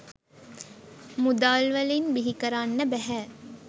මුදල්වලින් බිහිකරන්න බැහැ.